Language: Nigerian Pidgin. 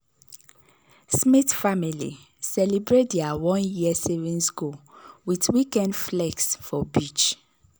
smith family celebrate their one-year savings goal with weekend flex for beach.